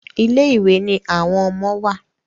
Ilé ìwé ní àwọn ọmọ wá.